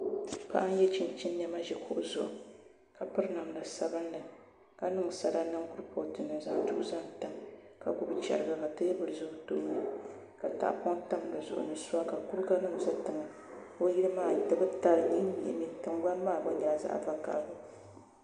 paɣa n-ye chinchini nɛma ʒi kuɣu zuɣu ka piri namda sabilinli ka niŋ sala niŋ kurifootu ni n-zaŋ duɣu zaŋ tam ka gbubi chɛriga ka teebuli za o tooni ka tahapɔŋ tam di zuɣu ni sua ka kuriganima za tiŋa o yili maa di mi ta di nyihinyimi tiŋgbani maa gba nyɛpla zaɣ' vakahili